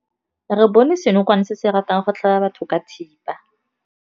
Re bone senokwane se se ratang go tlhaba batho ka thipa.